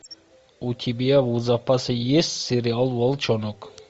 у тебя в запасе есть сериал волчонок